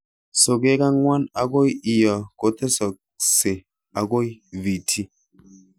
Sokeek angwan akoi lo kotesokse akoi VT